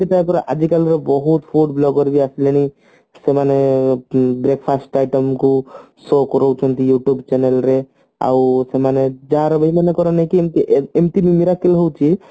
ତାପରେ ଆଜିକାଲି ର ବହୁତ food blogger ବି ଆସି ମାନେ ସେମାନେ breakfast item କୁ show କାରୋଉଛନ୍ତି YouTube channel ରେ ଆଉ ସେମାନେ ଯାହାର ଯୋଉ ମାନଙ୍କର ନଉଛନ୍ତି ଏମତି ବି miracle ହଉଛି